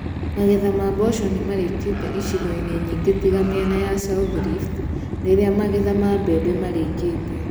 Magetha ma mboco nĩmarĩkĩte icigo-inĩ nyingĩ tiga mĩena ya South Rift, rĩrĩa magetha ma mbeme marĩkĩte